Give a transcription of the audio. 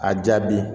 A jaabi